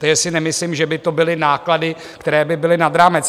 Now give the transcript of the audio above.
Tady si nemyslím, že by to byly náklady, které by byly nad rámec.